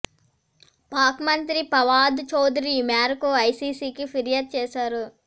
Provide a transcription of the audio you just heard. పాక్ మంత్రి పవాద్ చౌదరి ఈ మేరకు ఐసీసీకి ఫిర్యాదు చేశారు